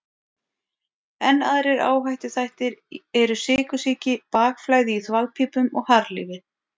Enn aðrir áhættuþættir eru sykursýki, bakflæði í þvagpípum og harðlífi.